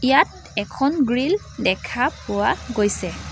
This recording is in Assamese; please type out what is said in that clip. ইয়াত এখন গ্ৰীল দেখা পোৱা গৈছে।